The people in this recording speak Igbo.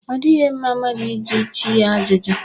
Ọ dịghị mma mmadụ ịjụ chi ya ajụjụ.